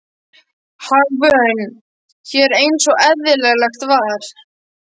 Hagvön hér eins og eðlilegt var.